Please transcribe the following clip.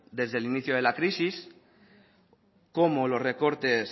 desde el inicio de la crisis como los recortes